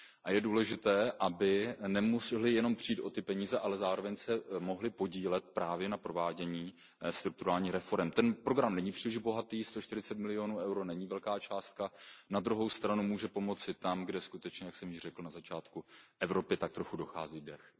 Je důležité, aby nemusely jenom přijít o peníze, ale zároveň se mohly podílet právě na provádění strukturálních reforem. Ten program není příliš bohatý, sto čtyřicet milionů EUR není velká částka, na druhou stranu může pomoci tam, kde skutečně, jak již jsem řekl na začátku, Evropě tak trochu dochází dech.